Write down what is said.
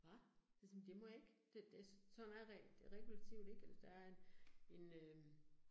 Hva? Jeg siger det må jeg ikke. Det det sådan er regulativet ikke eller der en en øh